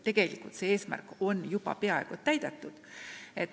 Tegelikult on see eesmärk juba peaaegu täidetud.